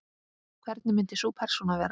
Hvernig myndi sú persóna vera?